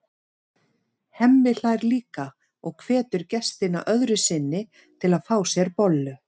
Hemmi hlær líka og hvetur gestina öðru sinni til að fá sér bollu.